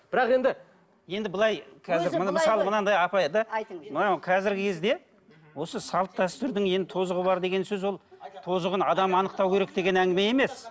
бірақ енді енді былай қазір міне мысалы мынадай апай да мынауың қазіргі кезде осы салт дәстүрдің ең тозығы бар деген сөз ол тозығын адам анықтау керек деген әңгіме емес